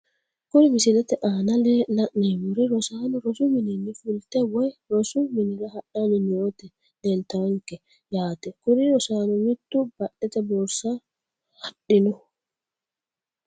Kuri misilete aana la`nemori rosaano rosu minini fultani woyi rosu minira hadhani nooti lelitawonke yaate kuri rosaanono mitu badhete borsa haadhino.